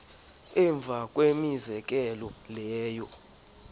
emva kwemizekelo leyo